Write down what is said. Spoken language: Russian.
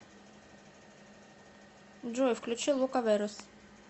джой включи лукаверос